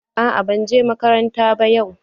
Aa ban je makaranta yau ba.